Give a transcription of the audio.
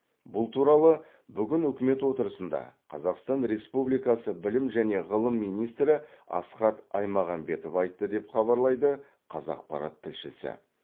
бұл туралы бүгін үкімет отырысында қазақстан республикасы білім және ғылым министрі асхат аймағамбетов айтты деп хабарлайды қазақпарат тілшісі